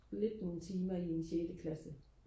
lidt nogle timer i en sjette klasse